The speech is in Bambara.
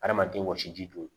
Adamaden wɔsiji don